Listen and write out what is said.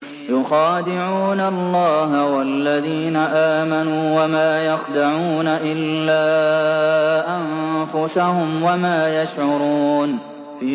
يُخَادِعُونَ اللَّهَ وَالَّذِينَ آمَنُوا وَمَا يَخْدَعُونَ إِلَّا أَنفُسَهُمْ وَمَا يَشْعُرُونَ